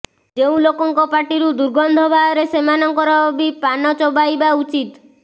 ଯେଉଁ ଲୋକଙ୍କର ପାଟିରୁ ଦୁର୍ଗନ୍ଧ ବାହାରେ ସେମାନଙ୍କର ବି ପାନ ଚୋବାଇବା ଉଚିତ୍